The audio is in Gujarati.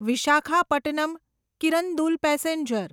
વિશાખાપટ્ટનમ કિરંદુલ પેસેન્જર